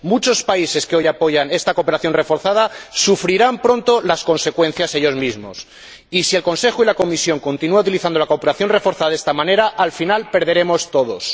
Muchos países que hoy apoyan esta cooperación reforzada sufrirán pronto las consecuencias ellos mismos y, si el Consejo y la Comisión continúan utilizando la cooperación reforzada de esta manera, al final perderemos todos.